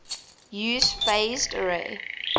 use phased array